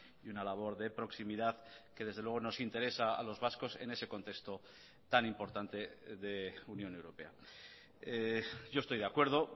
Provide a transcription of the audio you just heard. y una labor de proximidad que desde luego nos interesa a los vascos en ese contexto tan importante de unión europea yo estoy de acuerdo